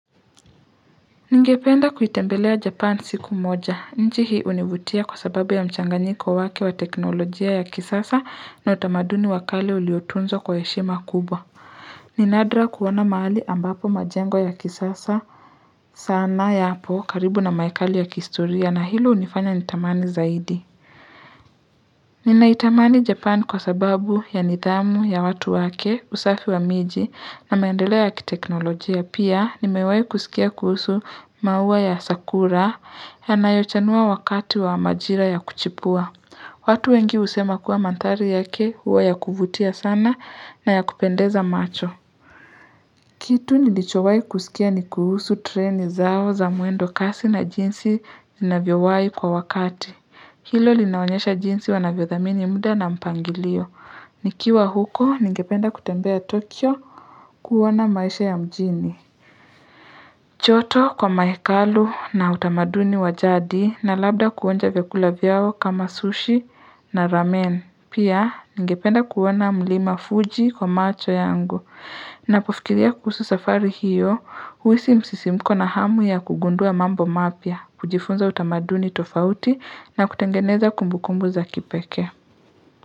Ningependa kuitembelea japan siku moja, nchi hii univutia kwa sababu ya mchanganyiko wake wa teknolojia ya kisasa na utamaduni wa kale uliotunzwa kwa heshima kubwa. Ni nadra kuona mahali ambapo majengo ya kisasa sana yapo karibu na mahekalu ya kihistoria na hilo unifanya nitamani zaidi. Nina itamani Japan kwa sababu ya nithamu ya watu wake usafi wa miji na maendeleo ya kiteknolojia. Pia nimewai kusikia kuhusu maua ya sakura yanayochanua wakati wa majira ya kuchipua. Watu wengi husema kuwa mandhari yake huwa ya kuvutia sana na ya kupendeza macho. Kitu nilichowai kusikia ni kuhusu treni zao za mwendo kasi na jinsi inavyowai kwa wakati. Hilo linaonyesha jinsi wanavyo thamini muda na mpangilio. Nikiwa huko, nigependa kutembea Tokyo kuona maisha ya mjini. Choto kwa mahekalu na utamaduni wa jadi na labda kuonja vyakula vyao kama sushi na ramen. Pia, nigependa kuona mlima Fuji kwa macho yangu. Napofikiria kuhusu safari hiyo, huisi msisimko na hamu ya kugundua mambo mapya, kujifunza utamaduni tofauti na kutengeneza kumbukumbu za kipekee.